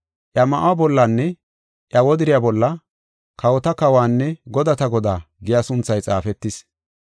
Iya ma7uwa bollanne iya wodiriya bolla, “Kawota Kawuwanne godata Godaa” giya sunthay xaafetis.